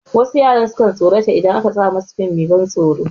Wasu yara sukan tsorata idan aka sa masu fim mai ban tsoron